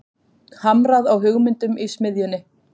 Hamrað á hugmyndum í smiðjunni